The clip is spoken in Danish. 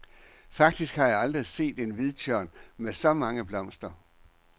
Faktisk har jeg aldrig set en hvidtjørn med så mange blomster.